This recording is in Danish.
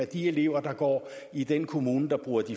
de elever der går i den kommune der bruger